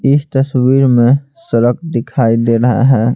इस तस्वीर में सड़क दिखाई दे रहा है।